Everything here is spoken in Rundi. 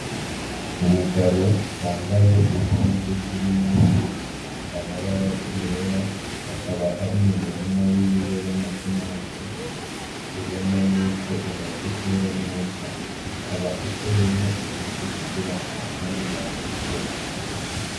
Umugabo yambaye impuzu zirimwo amabara yera, akaba ari m'umurima wiwe w'amatomati, ubona yuko amaze kwera neza ukaba uteyemwo ibiti kugira amashami adugireko.